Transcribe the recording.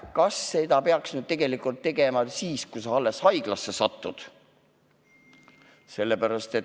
Aga kas seda peaks tegema alles siis, kui sa haiglasse satud?